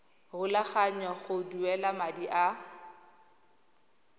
rulaganya go duela madi a